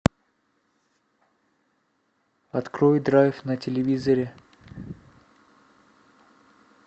открой драйв на телевизоре